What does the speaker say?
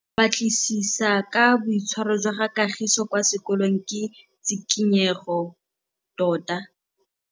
Go batlisisa ka boitshwaro jwa Kagiso kwa sekolong ke tshikinyêgô tota.